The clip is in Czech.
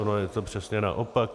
Ono je to přesně naopak.